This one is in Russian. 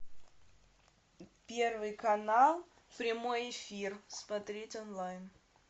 первый канал прямой эфир смотреть онлайн